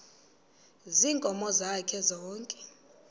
ziinkomo zakhe zonke